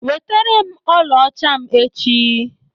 Weterem ọlaọcha m echi!